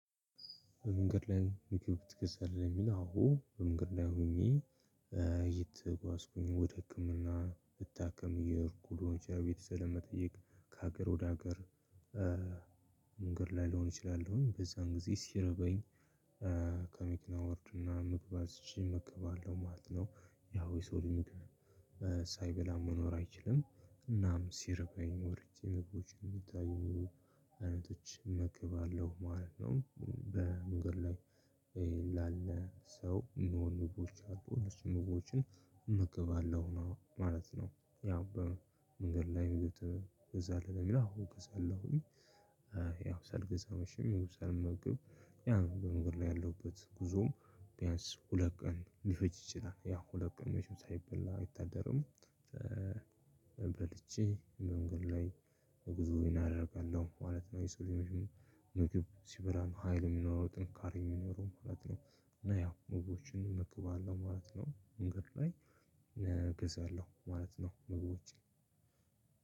በመንገድ ላይም ዩቲዩብ ትከፍታለህ ለሚለው? አዎ በመንገድ ላይ ሆኜ እየተጓዝኩኝ ወደ ህክምና ልታከም እየሄድኩ ሊሆን ይችላል። ቤተሰብ ለመጠየቅ ከሀገር ወደ ሀገር ላይ ልሆን እችላለሁኝ። በዛን ጊዜ ሲርበኝ ከመኪና እወርድና ምግብ አዝዠ እመገባለሁ ማለት ነው። ያው የሰው ልጅ ምግብ ሳይበላ መኖር አይችልም። እናም ሲርበኝ ወርጀ ምግቦችን አይነቶችን እመገባለሁ ማለት ነው። በመንገድ ላይ ላለ ሰው የሚሆኑ ምግቦች አሉ እነሱን ምግቦችን እመገባለሁ ማለት ነው። ያው በመንገድ ላይ ትገዛለህ ለሚለው አዎ እገዛለሁኝ። ሳልገዝ መቸም ይሁን ሳልመገብ ያን በመንገድ ላይ ያለውበት ጉዞም ቢያንስ ሁለት ቀን ሊፈጅ ይችላል። ያ ሁለት ቀን መቸም ሳይበላ አይታደርም። በልቼ መንገድ ላይ ጉዞዬን አደርጋለሁ ማለት ነው። የሰው ልጅ መቸም ምግብ ሲበላ ነው ሀይል የሚኖረው ጥንካሬም የሚኖረው ማለት ነው። እና ያው ምግቦችን እመገባለው ማለት ነው። መንገድ ላይ እገዛለው ማለት ነው። ምግቦችን